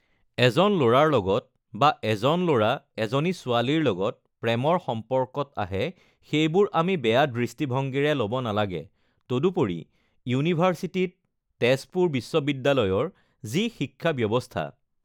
এজন ল'ৰাৰ লগত বা এজন ল'ৰা এজনী ছোৱালীৰ লগত প্ৰেমৰ সম্পৰ্কত আহে সেইবোৰ আমি বেয়া দৃষ্টিভঙ্গীৰে ল'ব নালাগে তদুপৰি ইউনিভাৰ্চিটীত তেজপুৰ বিশ্ববিদ্য়ালয়ৰ যি শিক্ষা ব্য়ৱস্থা